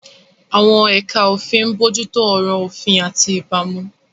Àwọn ẹ̀ka òfin ń bójú tó ọ̀rọ̀ òfin àti ìbámu.